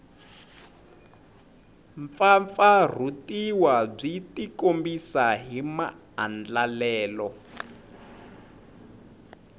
mpfampfarhutiwa byi tikombisa hi maandlalelo